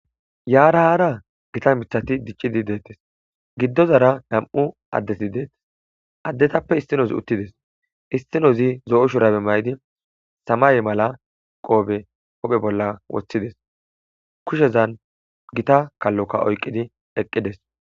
yaara haara gita mithati diccidi deettes giddozara ham7u addeti deettes addetappe istinozi uttides istinozi zo7o shurabe may7di samaye mala qoobe ophe bolla woththides kushezan gita kalloka oyqidi eqqides